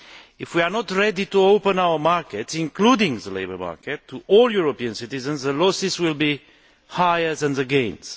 If we are not ready to open our markets, including the labour market, to all European citizens, the losses will be higher than the gains.